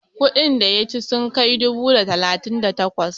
kudin da ya ci sun kai dubu da talatin da takwas?